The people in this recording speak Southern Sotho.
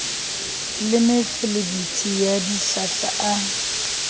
le mefelebithi ya dihlahla a